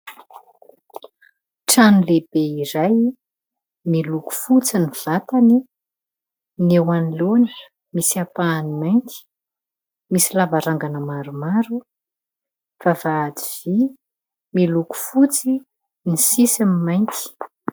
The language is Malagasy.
Trano lehibe iray : miloko fotsy ny vatany, ny eo anoloany misy ampahany mainty, misy lavarangana maromaro, vavahady vy miloko fotsy ny sisiny mainty.